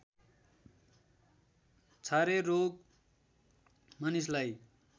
छारे रोग मानिसलाई